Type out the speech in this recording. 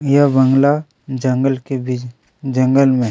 यह बंगला जंगल के बीच जंगल मे--